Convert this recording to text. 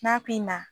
N'a pimina